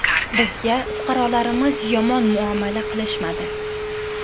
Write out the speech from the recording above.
Bizga fuqarolarimiz yomon muomala qilishmadi.